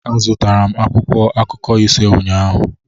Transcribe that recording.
Azụtara m akwụkwọ akụkọ ise ụnyahụ